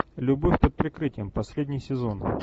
любовь под прикрытием последний сезон